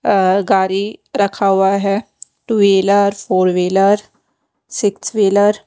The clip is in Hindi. अ गाड़ी रखा हुआ है two wheeler four wheeler six wheeler --